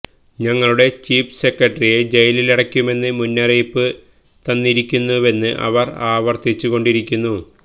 ഞങ്ങളുടെ ചീഫ് സെക്രട്ടറിയെ ജയിലിലടയ്ക്കുമെന്ന് മുന്നറിയിപ്പ് തന്നിരിക്കുന്നുവെന്ന് അവർ ആവർത്തിച്ചുകൊണ്ടിരിക്കുന്നു